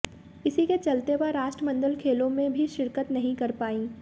इसी के चलते वह राष्ट्रमंडल खेलों में भी शिरकत नहीं कर पार्इं